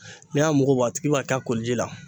N'i y'a mugu bɔ , a tigi b'a k'a koli ji la